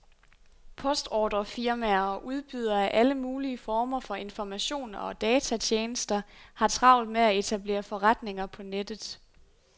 Postordrefirmaer og udbydere af alle mulige former for informationer og datatjenester har travlt med at etablere forretninger på nettet.